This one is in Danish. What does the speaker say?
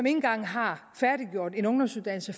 engang har færdiggjort en ungdomsuddannelse